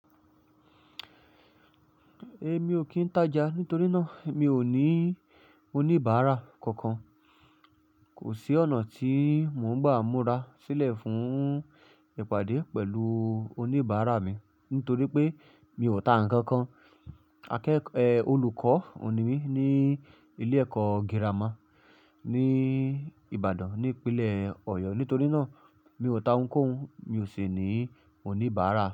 Ẹ mi ò kí ń tája nítorí náà mi ò ní oníbàárà kankan. Kò sí ọ̀nà tí mò ń gbà múra sílẹ̀ fún ìpàdé pẹ̀lú oníbàárà mi nítorí pé mi ò ta ǹkan kan. Akẹ́kọ̀ọ́, eh olùkọ́ ni mí ní ilé ẹ̀kọ́ girama ní Ìbàdàn ní ìpínlẹ̀ Ọ̀yọ́ nítorí náà mi ò ta ǹkan, mi ò sì ní oníbàárà.